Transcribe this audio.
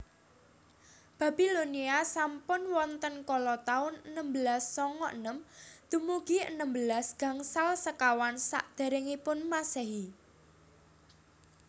Babilonia sampun wonten kala taun enem belas songo enem dumugi enem belas gangsal sekawan Sakderengipun Masehi